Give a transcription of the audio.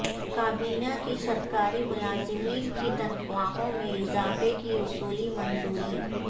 کابینہ کی سرکاری ملازمین کی تنخواہوں میں اضافے کی اصولی منظوری